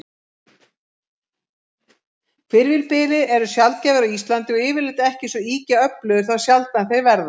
Hvirfilbyljir eru sjaldgæfir á Íslandi, og yfirleitt ekki svo ýkja öflugir þá sjaldan þeir verða.